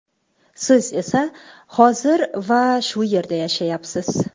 Siz esa hozir va shu yerda yashayapsiz.